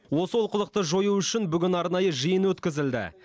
осы олқылықты жою үшін бүгін арнайы жиын өткізілді